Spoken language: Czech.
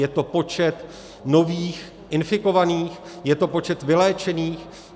Je to počet nových infikovaných, je to počet vyléčených?